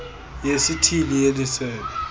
yesithili yeli sebe